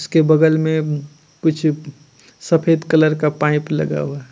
उसके बगल में कुछ सफेद कलर का पाइप लगा हुआ--